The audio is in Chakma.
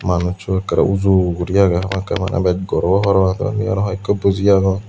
manussow ekkerey ujugori aagey hamakkai maneh bej gor obow parapang tey undi aro hoiekko buji aagon.